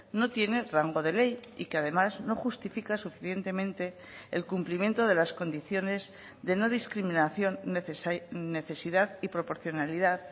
no tiene rango de ley y que además no justifica suficientemente el cumplimiento de las condiciones de no discriminación necesidad y proporcionalidad